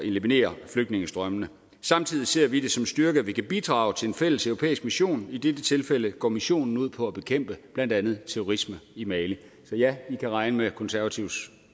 eliminere flygtningestrømmene samtidig ser vi det som en styrke at vi kan bidrage til en fælleseuropæisk mission og i dette tilfælde går missionen ud på at bekæmpe blandt andet terrorisme i mali så ja i kan regne med konservatives